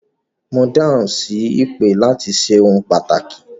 Mo dáhùn sí ìpè láti ṣe ohun pàtàkì